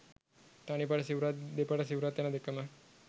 තනිපට සිවුරත් දෙපට සිවුරත් යන දෙකම